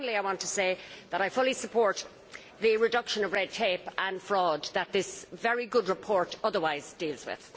But finally, I want to say that I fully support the reduction of red tape and fraud that this very good report otherwise deals with.